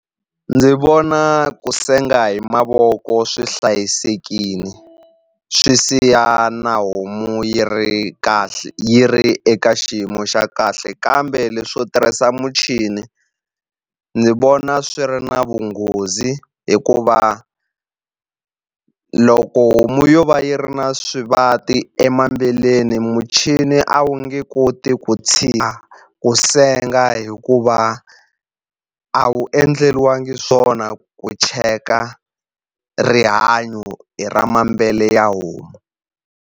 Ndzi vona ku senga hi mavoko swi hlayisekile swi siya na homu yi ri kahle yi ri eka xiyimo xa kahle kambe leswo tirhisa muchini ndzi vona swi ri na vunghozi hikuva loko homu yo va yi ri na swivati muchini a wu nge koti ku tshika ku senga hikuva a wu endleriwangi swona ku cheka rihanyo hi ra ya homu.